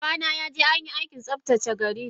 Babana yaje anyi Aikin tsaftace gari dashi.